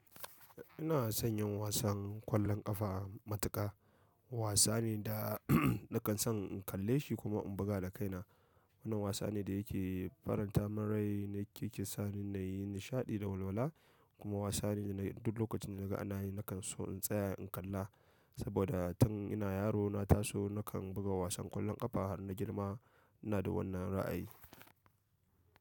Ina son yin wasan kwallon ƙafa matuƙa. Wasa ne da nakan son in kalle shi kuma in buga da kaina. Wannan wasa ne da yake faran ta min rai, yake kisani nayi nishaɗi da walwala kuma wasa ne da duk lokacin da naga ana yi hakan so in tsaya in kalla. Saboda tun ina yaro na taso nakan buga wasan ƙwallon ƙafa har na girma ina da wannan ra'ayi.